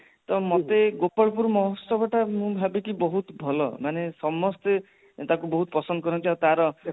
ତ ମତେ ଗୋପାଳ ପୁର ମହୋଚ୍ଚବ ମୁଁ ଭାବିଛି ବହୁତ ଭଲ ମାନେ ସମସ୍ତେ ତାକୁ ବହୁତ ପସନ୍ଦ କରନ୍ତି ଆଉ ତାର